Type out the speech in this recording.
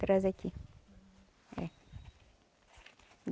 Traz aqui, é.